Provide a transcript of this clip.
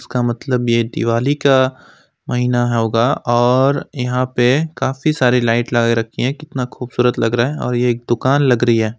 इसका मतलब ये दिवाली का महीना होगा और यहां पे काफी सारी लाइट लगा रखी है कितना खूबसूरत लग रहा है और ये दुकान लग रही है।